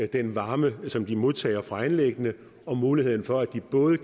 den varme som virksomhederne modtager fra anlæggene og muligheden for at de både